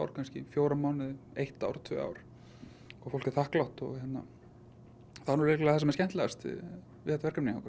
kannski fjóra mánuði eitt ár tvö ár og fólk er þakklátt og það er líklega það skemmtilegasta við þetta verkefni okkar